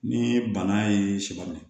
Ni bana ye sɔ minɛ